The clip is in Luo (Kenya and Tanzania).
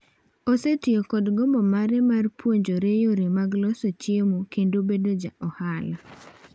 Osetiyo kod gombo mare mar puonjore yore mag loso chiemo kendo bedo ja ohala.